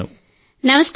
నమస్కారం సార్